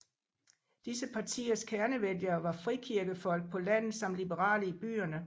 Disse partiers kernevælgere var frikirkefolk på landet samt liberale i byerne